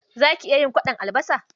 Za ki iya yin kwaɗon albasa?